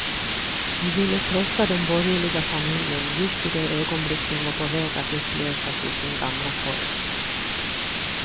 Vi ville krossa den borgerliga familjen just i det ögonblick den var på väg att upplösas i sin gamla form.